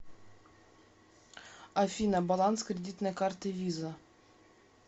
афина баланс кредитной карты виза